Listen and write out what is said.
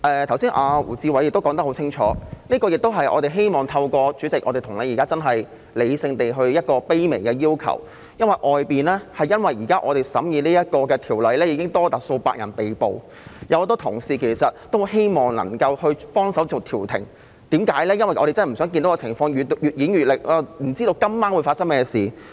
胡志偉議員剛才說得很清楚，我們希望現時向代理主席理性地提出一個卑微要求，正因為我們現時審議這項《條例草案》，外面已有多達數百人被捕，有很多同事希望能夠前往現場幫助進行調停，我們真的不希望看到情況越演越烈，亦不知道今晚會發生甚麼事。